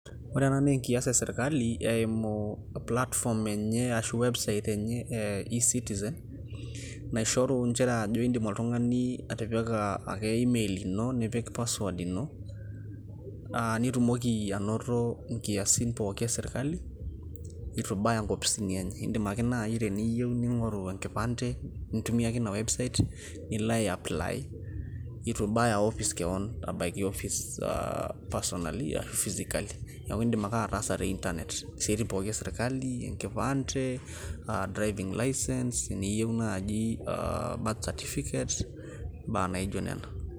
Ore na naa enkias esirkali eimu platform enye ashu website enye eh e-citizen ,naishoru njere ajo iidim oltung'ani atipika ake email ino, nipik password ino, ah nitumoki anoto inkiasi pooki esirkali, itu baya inkopisini enye. Iidim ake nai teniyieu ning'oru enkipande, intumia ake ina website ,nilo ai apply ,itu baya opis keon. Abaiki ofis ah personally ashu physically. Neeku idim ake ataasa te Internet. Isiaitin pooki esirkali, enkipande, ah driving licence ,niyieu naaji ah birth certificate ,imbaa naijo nena.